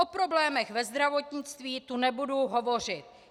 O problémech ve zdravotnictví tu nebudu hovořit.